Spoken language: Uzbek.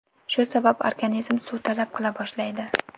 Shu sabab organizm suv talab qila boshlaydi.